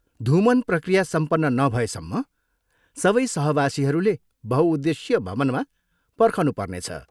धूमन प्रक्रिया सम्पन्न नभएसम्म सबै सहवासीहरूले बहुउद्देशीय भवनमा पर्खनुपर्नेछ।